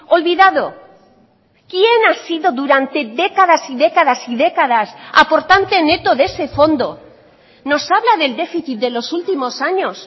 olvidado quién ha sido durante décadas y décadas y décadas aportante neto de ese fondo nos habla del déficit de los últimos años